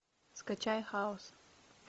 скачай хаос